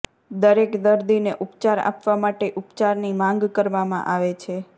દરેક દર્દીને ઉપચાર આપવા માટે ઉપચારની માંગ કરવામાં આવે છે